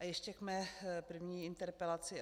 A ještě k mé první interpelaci.